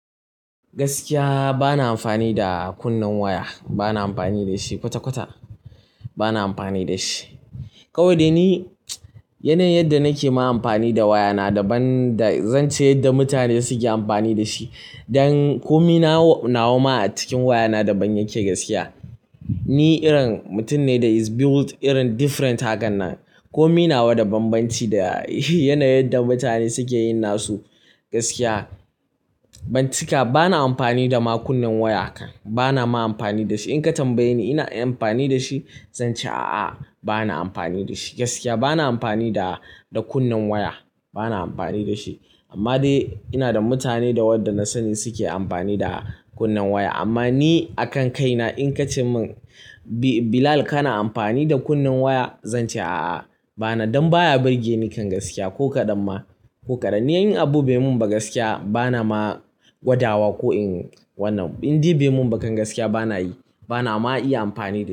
Gaskiya bana amfani da kunnen waya. Bana amfani da shi kwata-kwata. Bana amfani da shi. Kawai dai ni yanayin yadda nake ma amfani da waya na, daban da, zan ce yadda mutane suke amfani da shi. Don komai na wa ma a cikin waya na daban yake gaskiya. Ni irin mutum ne da is built irin different hakan nan. Ko mai na wa da banbanci da yanayin yadda mutane suke yin nasu gaskiya. Ban cika, bana amfani da ma kunnen waya kan. Bana ma amfani da shi. In ka tambaye ni ina amfani da shi, zan ce a'a bana amfani da shi gaskiya. Bana amfani da, da kunnen waya. Bana amfani da shi. Amma dai ina da mutane da wanda na sani suke amfani da kunnen waya. Amma ni a kan kaina in ka ce min, "Bilal kana amfani da kunnen waya?" Zan ce "a'a bana. Don baya burge ni kan gaskiya ko kaɗan ma, ko kaɗan. Ni yin abu bai mun ba gaskiya bana ma gwadawa ko in wannan. Inde bai mun ba kan gaskiya bana yi. Bana ma iya amfani da shi.